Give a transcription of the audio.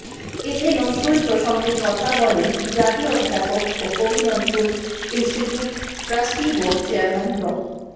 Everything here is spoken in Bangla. এতে নজরুল প্রসঙ্গে কথা বলেন জাতীয় অধ্যাপক ও কবি Nazrul institute trustee board chairman ড